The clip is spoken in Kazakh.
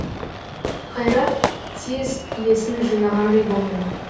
қайрат тез есін жинағандай болды